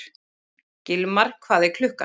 Gilmar, hvað er klukkan?